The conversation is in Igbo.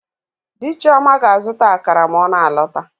Di Chioma ga-azụta akara ma ọ na-alọta.